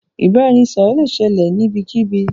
Ìbàràẹ̀nisọ̀rọ̀ lẹ ṣẹlẹ̀ níbẹ̀kíbí.